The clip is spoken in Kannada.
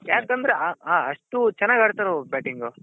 ಯಾಕಂದ್ರೆ ಆ ಅಷ್ಟು ಚೆನ್ನಾಗ್ ಆಡ್ತಾರವ್ರು batting